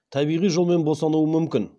табиғи жолмен босануы мүмкін